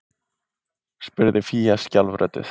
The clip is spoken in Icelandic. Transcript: spurði fía skjálfrödduð